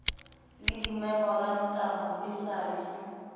le dimemorantamo e sa le